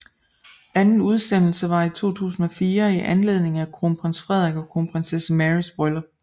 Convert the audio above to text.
Anden udsendelse var i 2004 i anledning af Kronprins Frederik og Kronprinsesse Marys bryllup